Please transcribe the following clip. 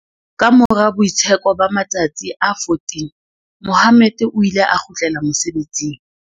Kamora boitsheko ba ma-tsatsi a 14, Mohammed o ile a kgutlela mosebetsing.